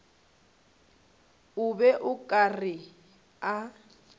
be o ka re a